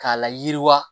K'a layiriwa